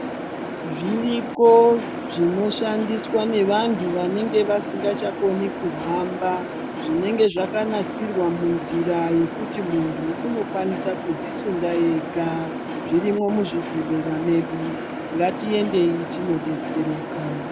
Zviriko zvinoshandiswa nevantu vanenge vasingachakoni kuhamba, zvinenge zvakanasirwa munzira yekuti muntu unokwanisa kudzisunda ega, zvirimwo muzvibhedhlera medu. Ngatiendeyi tindodetsereka.